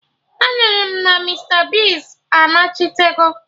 Anụrụ m na Mista Bigz anachitego